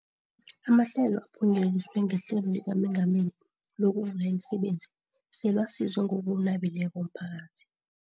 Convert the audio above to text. Amahlelo aphunyeleliswe ngeHlelo likaMengameli lokuVula imiSebenzi selawusize ngokunabileko umphakathi.